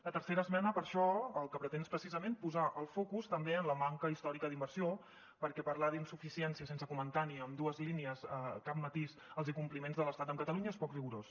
la tercera esmena per això el que pretén és precisament posar el focus també en la manca històrica d’inversió perquè parlar d’insuficiència sense comentar ni amb dues línies cap matís els incompliments de l’estat amb catalunya és poc rigorós